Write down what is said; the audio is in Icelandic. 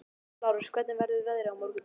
Lárus, hvernig verður veðrið á morgun?